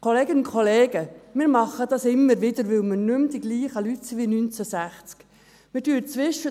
Kolleginnen und Kollegen, wir tun das immer wieder, weil wir nicht mehr die gleichen Leute sind wie 1960.